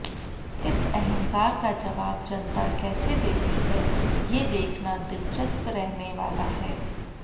इस अहंकार का जवाब जनता कैसे देती है ये देखना दिलचस्प रहने वाला है